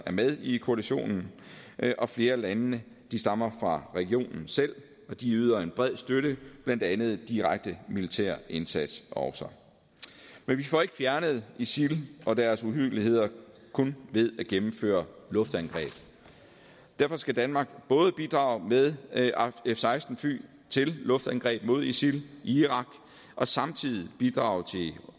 er med i koalitionen og flere af landene stammer fra regionen selv og de yder en bred støtte blandt andet også direkte militær indsats men vi får ikke fjernet isil og deres uhyrligheder kun ved at gennemføre luftangreb derfor skal danmark både bidrage med f seksten fly til luftangreb mod isil i irak og samtidig bidrage til